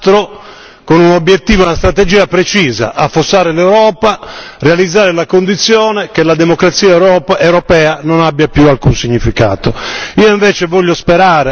Mi sembrerebbe un disastro, con un obiettivo e una strategia precisa affossare l'Europa, realizzare la condizione che la democrazia europea non abbia più alcun significato.